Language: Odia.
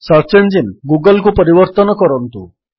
ସର୍ଚ୍ଚ ଇଞ୍ଜିନ୍ ଗୁଗଲ୍କୁ ପରିବର୍ତ୍ତନ କରନ୍ତୁ